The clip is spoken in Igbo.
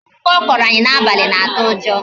Akụkọ ọ kọrọ anyị n'abalị na-atụ ụjọ